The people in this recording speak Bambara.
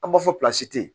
An b'a fɔ tɛ yen